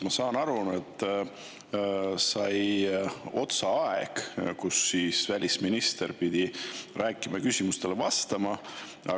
Ma saan aru, et aeg, mille jooksul välisminister pidi rääkima ja küsimustele vastama, sai otsa.